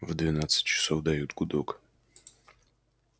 в двенадцать часов дают гудок